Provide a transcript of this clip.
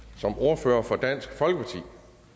som ordfører for dansk folkeparti